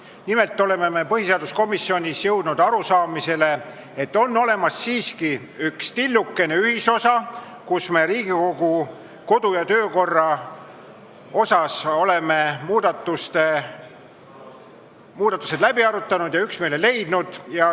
Nimelt oleme me põhiseaduskomisjonis jõudnud arusaamisele, et on siiski olemas üks tillukene ühisosa Riigikogu kodu- ja töökorra seaduse muudatustes, mis on läbi arutatud ja kus on üksmeel leitud.